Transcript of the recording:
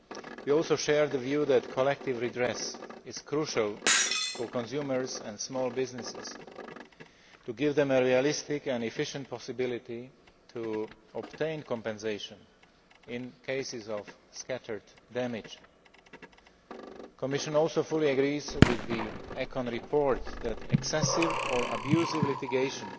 We also share the view that collective redress is crucial for consumers and small businesses in order to give them a realistic and efficient possibility to obtain compensation in cases of scattered damage. The Commission also fully agrees with the ECON Committee report, that excessive or abusive litigation